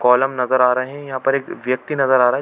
Column नज़र आ रहै है यहाँ पर एक व्यक्ति नज़र आ रहा हैं।